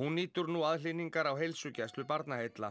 hún nýtur nú aðhlynningar á heilsugæslu Barnaheilla